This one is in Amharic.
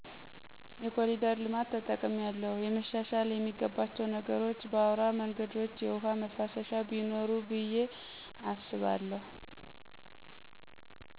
የኮሊደር ልማት ተጠቅሚያለሁ። የመሻሻል የሚገባቸዉ ነገሮች በአዉራ መንገድች የዉሀ መፍሰሻ ቢኖር ጥሩ ነዉ ብየ አስባለሁ